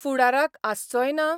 फुडाराक आसचोय ना?